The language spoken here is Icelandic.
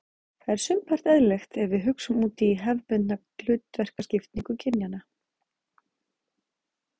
Það er sumpart eðlilegt ef við hugsum út hefðbundna hlutverkaskiptingu kynjanna.